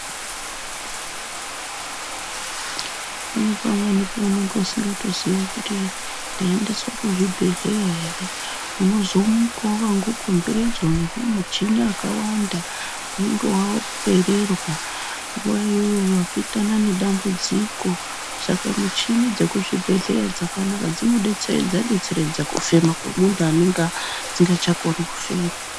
Pane pamweni paunenge usingazii kuti ndaendeswa kuchibhedhlera ere unozomukawo wakakomberedzwa nemuchini ikako pakawanda unenge wapererwa nguwa imweni wapinda nedambudziko Saka muchini dzekuzvibhedhlera dzakanaka dzinodetseredza detseredza kufema kwemunhu anenge asingachakoni kufema.